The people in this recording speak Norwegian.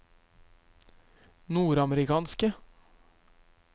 nordamerikanske